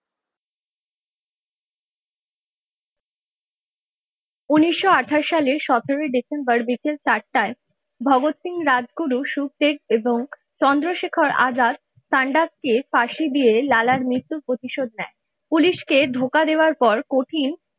উনিশশো আঠাশ সালের সতেরই ডিসেম্বর বিকাল চারটায় ভগৎ সিং রাজগুরু শুকদেব এবং চন্দ্রশেখর আজাদ চান্দাবকে ফাঁসি দিয়ে লালার মৃত্যুর প্রতিশোধ নেয় পুলিশকে ধোকা দেওয়ার পর কঠিন।